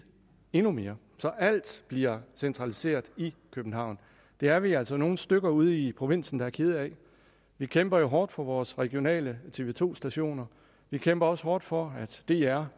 endnu mere så alt bliver centraliseret i københavn det er vi altså nogle stykker ude i provinsen der er kede af vi kæmper jo hårdt for vores regionale tv to stationer vi kæmper også hårdt for at dr